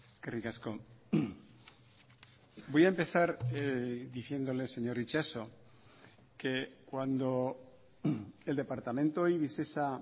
eskerrik asko voy a empezar diciéndole señor itxaso que cuando el departamento y visesa